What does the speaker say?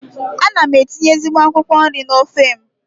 Ana m etinye ezigbo akwụkwọ nri n'ofe m.